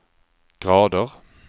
grader